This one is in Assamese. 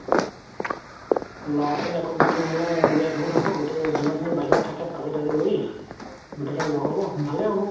ল'ৰা খিনি আকৌ মানে গুতেই খিনি গুত হ'ব গুতেই যিমান খিনি বাহিৰত থাকে চাকৰি তাকৰি কৰি গুতেই খিনি ল'গ হ'ব ভালে হ'ব